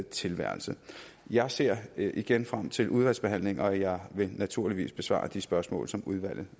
tilværelse jeg ser igen frem til udvalgsbehandlingen og jeg vil naturligvis besvare de spørgsmål som udvalget